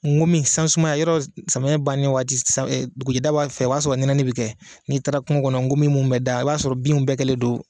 N komi san sumaya, yɔrɔ samiyɛ bannen waati dugujɛda fɛ o y'a sɔrɔ nɛnɛnin bɛ kɛ n'i taara kungo kɔnɔ ,nkomi minnu bɛ da o b'a sɔrɔ bin bɛɛ kɛlen don